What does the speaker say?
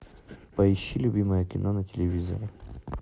поищи любимое кино на телевизоре